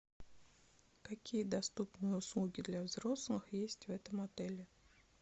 какие доступные услуги для взрослых есть в этом отеле